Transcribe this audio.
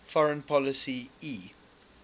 foreign policy e